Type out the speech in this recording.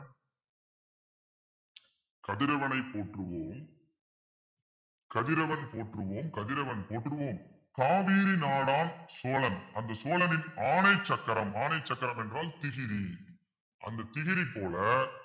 கதிரவனை போற்றுவோம் கதிரவன் போற்றுவோம் கதிரவன் போற்றுவோம் காவேரி நாடார் சோழன் அந்த சோழனின் ஆணை சக்கரம் ஆனை சக்கரம் என்றால் திகிரி அந்த திகிரி போல